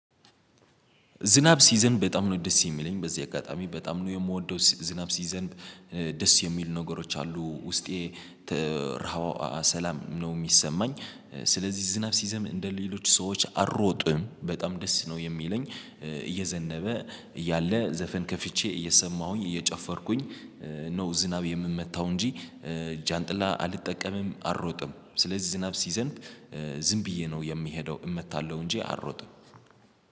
ዝናብ ሲዘንብ በጣም ነው ደስ የሚለኝ በዚህ አጋጣሚ በጣም ነው የምወደው ዝናብ ሲዘንብ ደስ የሚሉ ነገሮች አሉ ውስጤ ሰላም ነው የሚሰማኝ። ስለዚህ ዝናብ ሲዘንብ እንደ ሌሎች ሰዎች አልሮጥም በጣም ደስ ነው የሚለኝ። እየዘነበ እያለ ዘፈን ከፍቼ እየሰማሁኝ እየጨፈርኩኝ። ነው ዝናብ የምመታው እንጂ ጃንጥላ አልጠቀምም አልሮጥም። ስለዚህ ዝናብ ሲዘንብ ዝም ብዬ ነው የምሄደው እመታለሁ እንጂ አልሮጥም።